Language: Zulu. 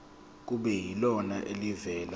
kube yilona elivela